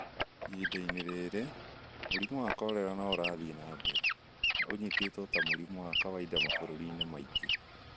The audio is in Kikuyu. Ihinda-inĩ rĩrĩ, mũrimũ wa korera no ũrathiĩ na mbere, na nĩ ũnyitĩtwo ta mũrimũ wa kawaida mabũrũri-inĩ maingĩ.